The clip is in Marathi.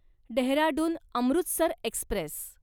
डेहराडून अमृतसर एक्स्प्रेस